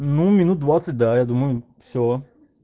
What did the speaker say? ну минут двадцать да я думаю все